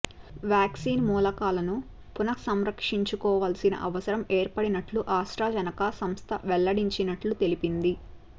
vaccine మూలకాలను పునఃసమీక్షించుకోవాల్సిన అవసరం ఏర్పడినట్లు ఆస్ట్రాజెనెకా సంస్థ వెల్లడించినట్లు తెలిపింది